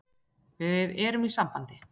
Við erum í sambandi.